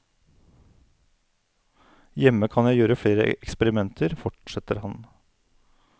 Hjemme kan jeg gjøre flere eksperimenter, fortsetter han.